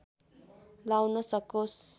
लाउन सकोस्